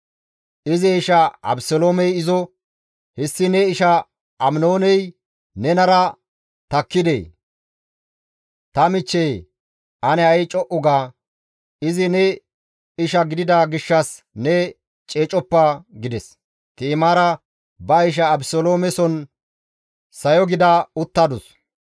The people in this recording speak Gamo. Izi isha Abeseloomey izo, «Hessi ne isha Aminooney nenara takkidee? Ta michcheye ane ha7i co7u ga; izi ne isha gidida gishshas ne ceecoppa» gides. Ti7imaara ba isha Abeseloomeson sayo gida uttadus.